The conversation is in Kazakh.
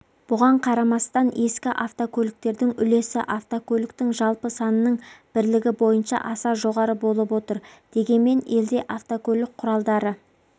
бұған қарамастан ескі автокөліктердің үлесі автокөліктің жалпы санының бірлігі бойынша аса жоғары болып отыр дегенмен елде автокөлік құралдары